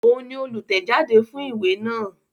Òun ni olùtẹ̀jáde fún ìwé náà